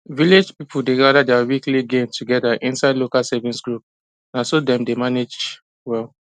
village people dey gather their weekly gain together inside local savings group na so dem dey manage well